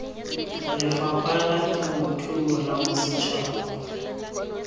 lefapha la temothuo la bosetšhaba